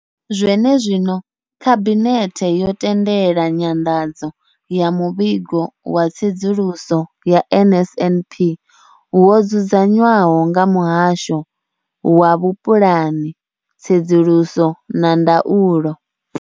Zwene zwino, Khabinethe yo tendela nyanḓadzo ya Muvhigo wa Tsedzuluso ya NSNP wo dzudzanywaho nga Muhasho wa Vhupulani, Tsedzuluso na Ndaulo.